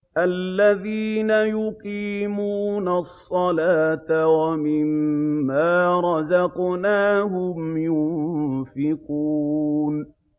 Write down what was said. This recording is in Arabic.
الَّذِينَ يُقِيمُونَ الصَّلَاةَ وَمِمَّا رَزَقْنَاهُمْ يُنفِقُونَ